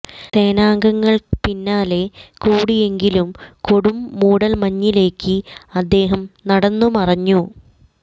സേനാംഗങ്ങൾ പിന്നാലെ കൂടിയെങ്കിലും കൊടും മൂടൽ മഞ്ഞിലേക്ക് അദ്ദേഹം നടന്നു മറഞ്ഞു